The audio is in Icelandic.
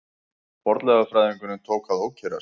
Fornleifafræðingurinn tók að ókyrrast.